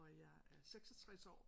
Og jeg er 66 år